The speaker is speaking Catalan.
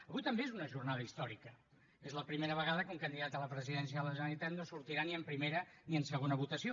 avui també és una jornada històrica és la primera vegada que un candidat a la presidència de la generalitat no sortirà ni en primera ni en segona votació